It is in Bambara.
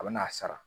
A bɛ n'a sara